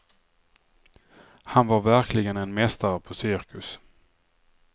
Han var verkligen en mästare på cirkus.